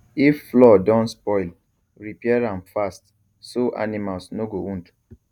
if floor don spoil repair am fast so animals no go wound